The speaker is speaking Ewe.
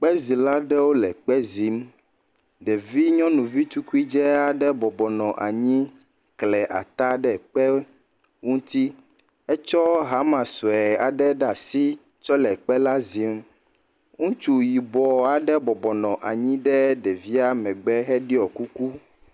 Kpezila aɖewo le kpe zim. Ɖevi nyɔnuvi tukui dzɛ aɖe bɔbɔ nɔ anyi kle ata ɖe kpe ŋuti. Etsɔ hama sue aɖe ɖe asi tsɔ le kpe la zim. Ŋutsu yibɔ aɖe bɔbɔ nɔ anyi ɖe ɖevia megbe heɖɔ kuku.